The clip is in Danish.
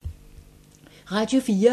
Radio 4